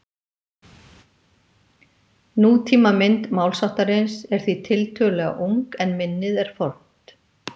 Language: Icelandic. Nútímamynd málsháttarins er því tiltölulega ung en minnið er fornt.